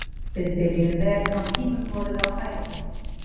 Við byrjuðum vel en á tímum vorum við á hælunum.